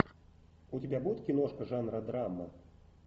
у тебя будет киношка жанра драма